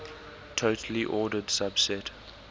totally ordered subset